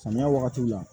Samiya wagati la